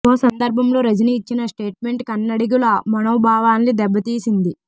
ఓ సందర్భంలో రజనీ ఇచ్చిన స్టేట్మెంట్ కన్నడిగుల మనోభావాల్ని దెబ్బ తీసింది